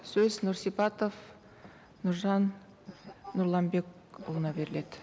сөз нұрсипатов нұржан нұрланбекұлына беріледі